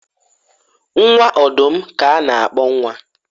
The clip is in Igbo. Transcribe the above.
nwa ọdụm ka a na-akpọ nwa